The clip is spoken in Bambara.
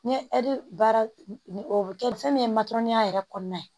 N ye baara o kɛ fɛn min ye matɔrɔniya yɛrɛ kɔnɔna ye